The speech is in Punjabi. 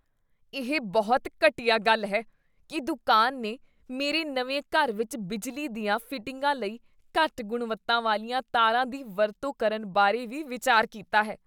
ਇਹ ਬਹੁਤ ਘਟੀਆ ਗੱਲ ਹੈ ਕੀ ਦੁਕਾਨ ਨੇ ਮੇਰੇ ਨਵੇਂ ਘਰ ਵਿੱਚ ਬਿਜਲੀ ਦੀਆਂ ਫਿਟਿੰਗਾਂ ਲਈ ਘੱਟ ਗੁਣਵੱਤਾ ਵਾਲੀਆਂ ਤਾਰਾਂ ਦੀ ਵਰਤੋਂ ਕਰਨ ਬਾਰੇ ਵੀ ਵਿਚਾਰ ਕੀਤਾ ਹੈ